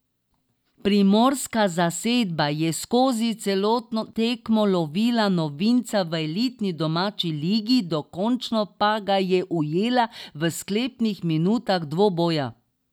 Primorska zasedba je skozi celotno tekmo lovila novinca v elitni domači ligi, dokončno pa ga je ujela v sklepnih minutah dvoboja.